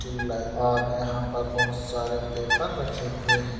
Tube light और यहाँ पर बहुत सारे पेपर रखे हुए हैं।